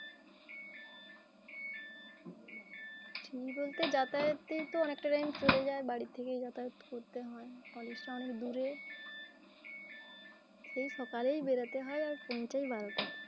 free বলতে, যাতায়াতেই তো অনেকটা time চলে যায়। বাড়ি থেকে যাতায়াত করতে হয় college অনেক দূরে। সেই সকালেই বেরোতে হয় আর পৌছায় বারোটায়।